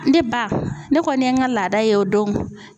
Ne ba ne kɔni ye n ka laada ye o don.